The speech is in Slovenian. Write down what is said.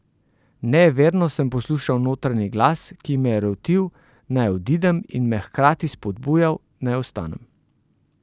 Nejeverno sem poslušal notranji glas, ki me je rotil, naj odidem, in me hkrati spodbujal, naj ostanem.